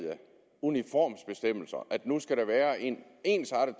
uniformsbestemmelser og at der nu skal være en ensartet